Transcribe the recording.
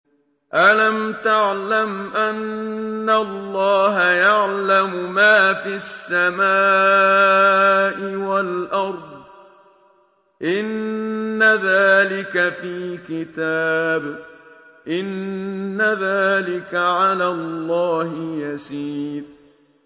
أَلَمْ تَعْلَمْ أَنَّ اللَّهَ يَعْلَمُ مَا فِي السَّمَاءِ وَالْأَرْضِ ۗ إِنَّ ذَٰلِكَ فِي كِتَابٍ ۚ إِنَّ ذَٰلِكَ عَلَى اللَّهِ يَسِيرٌ